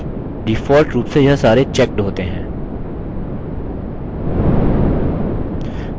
ध्यान दीजिये कि default रूप से यह सारे checked होते हैं